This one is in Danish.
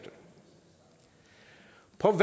på